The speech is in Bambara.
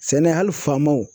Sɛnɛ hali faamaw